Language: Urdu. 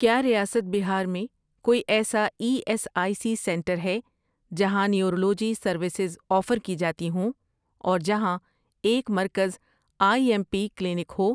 کیا ریاست بہار میں کوئی ایسا E S I C centre ہے جہاں نیورولوجی سروسز آفر کی جاتی ہوں اور جہاں ایک مرکز I M P clinic who?